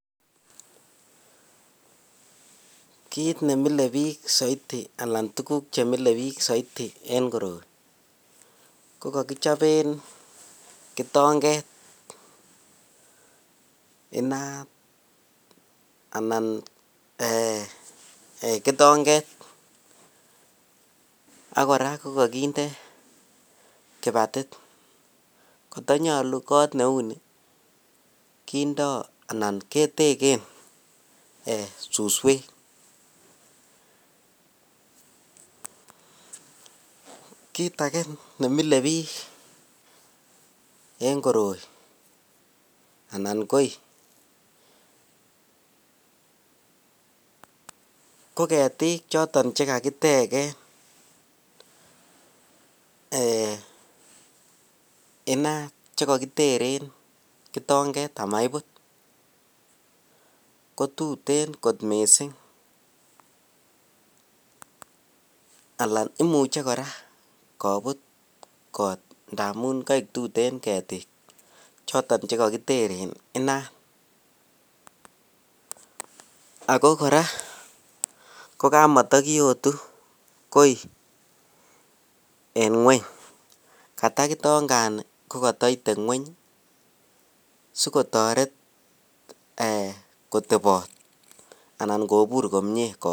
Kiit nemilebik anan tukuk chemilebik soiti en koroi ko kokichoben kitong'et inaat anan Um kitong'et ak kora ko kokinde kibatit kotonyolu koot neuni kindoo anan keteken suswek, kiit akee nemilebik en koroi anan koii ko ketik choton chekakiteken inaat chekokiteren kitong'et amaibut kotuten kot mising alaan imuche kora kobut kot ndamun koik tuten ketik choton chekokiteren inaat, ak ko kora ko kamatokiyotu koii en ng'weny, koto kitongani kotoite ng'weny sikotoret kotebot anan kobur komie koot.